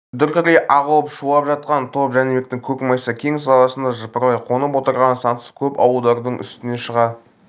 дүркірей ағылып шулап шапқан топ жәнібектің көк майса кең саласында жыпырлай қонып отырған сансыз көп ауылдардың үстінен шыға